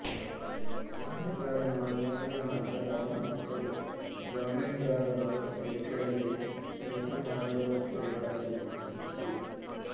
ಸಾಲಗಾರನ ಮರಣದ ನಂತರ ಅವನ ಮಕ್ಕಳು ಜಮೀನ್ದಾರರ ಕೈಕಳಗೆ ಕೆಲಸಮಾಡಬೇಕಾಗುತ್ತಿತ್ತು